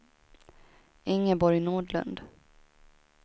Ingeborg Nordlund